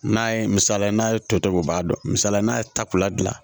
N'a ye misaliya n'a ye tɔ to u b'a dɔn misaliya la n'a ye tako la gilan